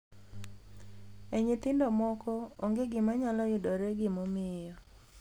E nyithindo moko, onge gima nyalo yudore gimomiyo.